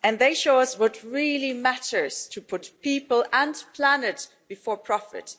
And they show us what really matters to put people and planet before profit.